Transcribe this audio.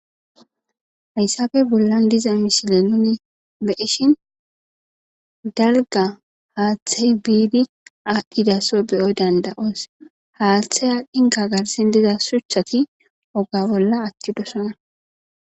Hayssafe bollan diza mishile nuni beishin dalga haaththey biidi aaddhidaso beyoy danda7oos haaththey a dinka garsin diza suchchati oga bolla atti dosana.